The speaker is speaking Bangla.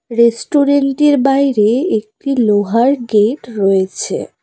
রেস্টুরেন্ট -এর বাইরে একটি লোহার গেট রয়েছে।